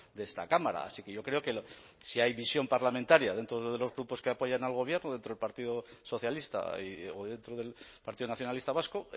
de esta cámara así que yo creo que si hay visión parlamentaria dentro de los grupos que apoyan al gobierno dentro del partido socialista o dentro del partido nacionalista vasco